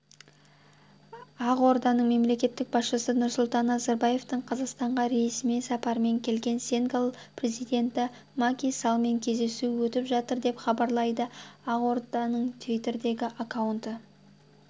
ақордада мемлекет басшысы нұрсұлтан назарбаевтың қазақстанға ресми сапармен келген сенегал президенті маки саллмен кездесуі өтіп жатыр деп хабарлайды ақорданың твиттердегі аккаунты